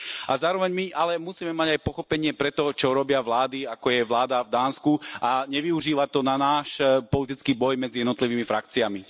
A zároveň ale musíme mať aj pochopenie pre to, čo robia vlády, ako je vláda v Dánsku, a nevyužívať to na náš politický boj medzi jednotlivými frakciami.